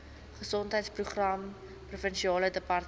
gesondheidsprogramme provinsiale departement